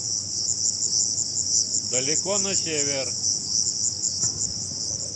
далеко на север